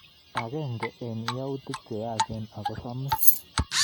Agenge eng yautik che yaach ako samis